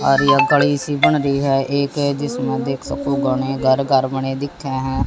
आरी अकड़ी सी बन रही है एक जिसमें देख सको घने घर घर बने दिखे हैं।